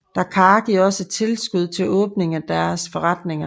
DACAAR giver også tilskud til åbningen af deres forretninger